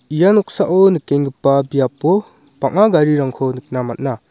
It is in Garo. ia noksao nikengipa biapo bang·a garirangko nikna man·a.